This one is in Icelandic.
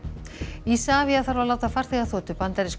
Isavia þarf að láta farþegaþotu bandarísku